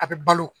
A bɛ balo